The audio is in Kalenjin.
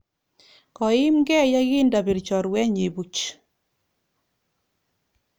Koiimkey yekindapir chorwennyi puch.